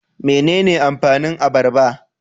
Mene ne amfanin abarba?